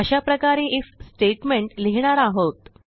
अशाप्रकारे IF statement लिहिणार आहोत